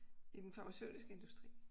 I den farmaceutiske industri